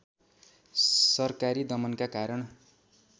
सरकारी दमनका कारण